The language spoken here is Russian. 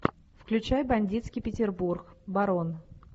включай бандитский петербург барон